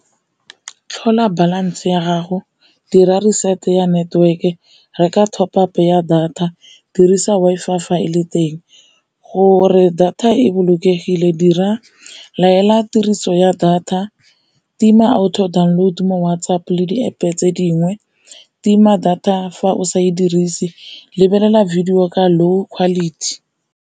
Tlhola balance ya gago dira reset ya network, reka top up ya data, dirisa Wi-Fi fa e le teng. Gore data e bolokegile latela tiriso ya data, tima auto download mo WhatsApp le di-App tse dingwe tima data fa o sa e dirise, lebelela video ka low quality.